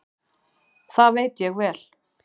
Það veit ég vel.